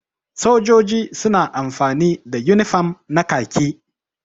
Sojoji suna amfani da unifam na kaki.